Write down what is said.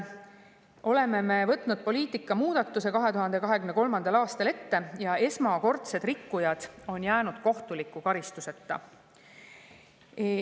Nimelt võtsime me 2023. aastal ette poliitika muudatuse ja esmakordsed rikkujad on jäänud kohtuliku karistuseta.